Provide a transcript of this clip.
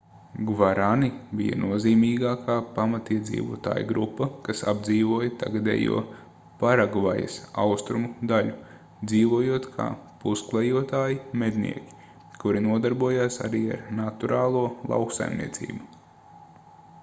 gvarani bija nozīmīgākā pamatiedzīvotāju grupa kas apdzīvoja tagadējo paragvajas austrumu daļu dzīvojot kā pusklejotāji mednieki kuri nodarbojās arī ar naturālo lauksaimniecību